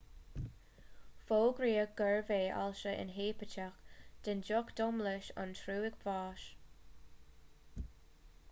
fógraíodh gurbh é ailse inheipiteach den ducht domlais an trúig bháis